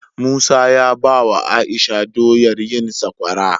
Musa ya bawa aisha doyar yin sakwara